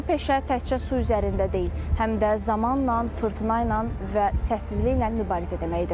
Bu peşə təkcə su üzərində deyil, həm də zamanla, fırtına ilə və səssizliklə mübarizə deməkdir.